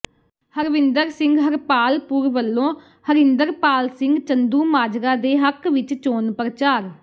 ਹਰਵਿੰਦਰ ਸਿੰਘ ਹਰਪਾਲਪੁਰ ਵੱਲੋਂ ਹਰਿੰਦਰਪਾਲ ਸਿੰਘ ਚੰਦੂਮਾਜਰਾ ਦੇ ਹੱਕ ਵਿਚ ਚੋਣ ਪ੍ਰਚਾਰ